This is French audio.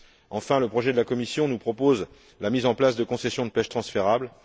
Enfin, le projet de la Commission nous propose la mise en place de concessions de pêche transférables.